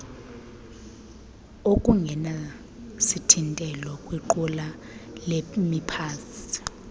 okungenasithintelo kwiqula lemiphantsi